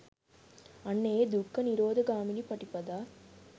අන්න ඒ දුක්ඛ නිරෝධ ගාමිනී පටිපදා